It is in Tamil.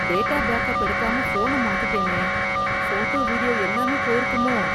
டேட்டா பேக்கப் எடுக்காம போன மாத்திட்டேனே. போட்டோ, வீடியோ எல்லாமே போயிருக்குமோ!